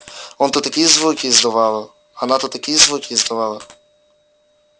он тут такие звуки издавала она тут такие звуки издавала